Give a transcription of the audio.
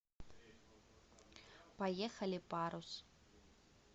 поехали парус